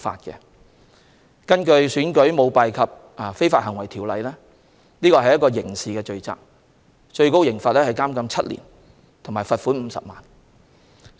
根據《選舉條例》，這些都屬刑事罪行，最高刑罰是監禁7年和罰款50萬元。